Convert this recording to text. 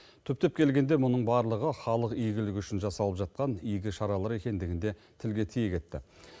түптеп келгенде мұның барлығы халық игілігі үшін жасалып жатқан игі шаралар екендігін де тілге тиек етті